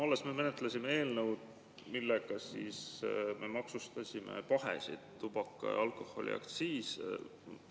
Alles me menetlesime eelnõu, millega me maksustasime pahesid, see oli tubaka‑ ja alkoholiaktsiisi.